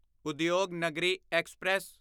Udyog Nagari express